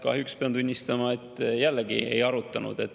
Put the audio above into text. Kahjuks pean tunnistama, et jällegi ei arutanud.